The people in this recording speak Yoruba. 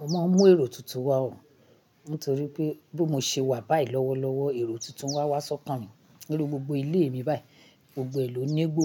Mo máa ń mú èrò tuntun wá o, nítorí pé bí mo ṣe wà báyìí lọ́wọ́ lọ́wọ́ èrò tuntun wá wá ṣọ̀kan mi. Nínú gbogbo ilé mi báyìí, gbogbo èlò nígbó,